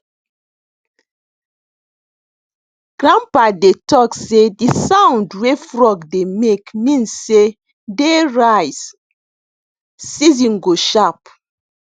grandpa dey talk sey de sound wey frog dey make mean sey dey rice season go sharp